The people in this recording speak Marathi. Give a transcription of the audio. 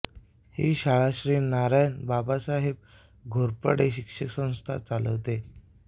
ही शाळा श्री नारायण बाबासाहेब घोरपडे शिक्षणसंस्था चालवते